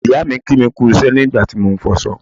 ìyáà mi kí mi kú iṣẹ́ nígbà tí mo ń fọṣọ